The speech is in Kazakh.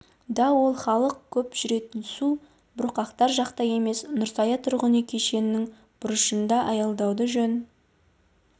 да ол халық көп жүретін субұрқақтар жақта емес нұрсая тұрғын үй кешенінің бұрышында аялдауды жөн